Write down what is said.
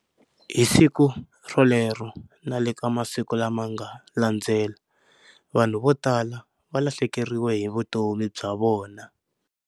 Hi siku rolero na le ka masiku lama nga landzela, vanhu vo tala va lahlekeriwe hi vutomi bya vona.